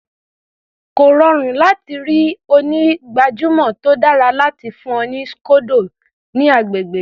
Kò rọrùn láti ri onígbàjamọ̀ tó dára láti fún ọ ní scodo ní agbègbè yìí.